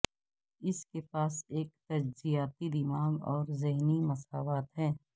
اس کے پاس ایک تجزیاتی دماغ اور ذہنی مساوات ہے